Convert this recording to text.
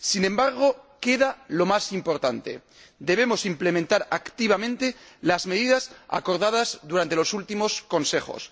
Sin embargo, queda lo más importante, debemos implementar activamente las medidas acordadas durante los últimos Consejos.